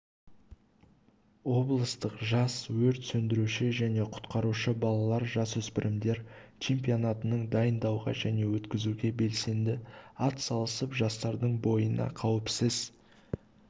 облыстық жас өрт сөндіруші және құтқарушы балалар-жасөспірімдер чемпионатының дайындауға және өткізуге белсенді атсалысып жастардың бойына қауіпсіз